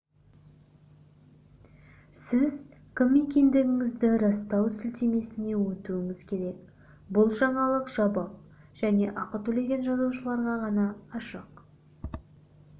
сіз кім екендігіңізді растау сілтемесіне өтуіңіз керек бұл жаңалық жабық және ақы төлеген жазылушыларға ғана ашық